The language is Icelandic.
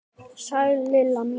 Sæl Lilla mín!